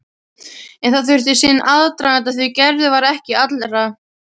En það þurfti sinn aðdraganda því Gerður var ekki allra.